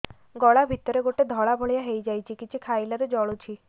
ଗଳା ଭିତରେ ଗୋଟେ ଧଳା ଭଳିଆ ହେଇ ଯାଇଛି କିଛି ଖାଇଲାରୁ ଜଳୁଛି